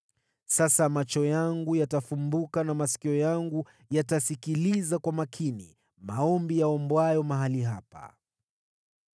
Sasa macho yangu yatafumbuka na masikio yangu yatasikiliza kwa makini maombi yaombwayo mahali hapa.